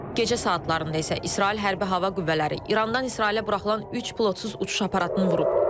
Gecə saatlarında isə İsrail Hərbi Hava Qüvvələri İrandan İsrailə buraxılan üç pilotsuz uçuş aparatını vurub.